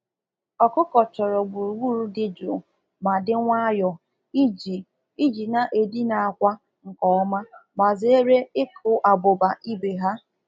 um Anụ ọkụkọ kwesịrị inwe ebe dị jụụ na-enweghị mkpọtụ ka ha wee nwee um ike ibu akwa ibu akwa nke ọma ma ghara ịwakpo ibe ha n’ahụ.